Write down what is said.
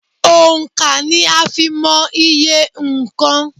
Òńkà ni a fi ń mọ iye nnkan.